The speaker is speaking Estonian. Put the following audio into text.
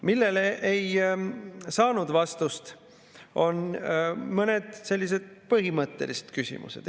Millele ei saanud vastust, on mõned sellised põhimõttelised küsimused.